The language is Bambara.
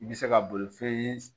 I bɛ se ka bolifɛn